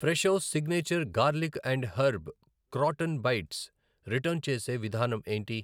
Fresho signature garlic and herb crouton bites return చేసే విధానం ఏంటి?